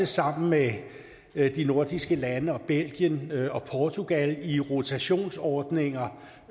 sammen med de nordiske lande belgien og portugal i rotationsordninger